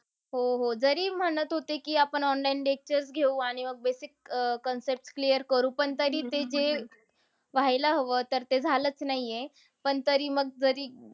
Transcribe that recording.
हो, हो. जरी म्हणत होते की आपण online lectures घेऊ आणि मग basic अह concepts clear करू. पण तरी ते जे व्हायला हवा ते तर झालाच नाहीए. पण तरी मग जरी,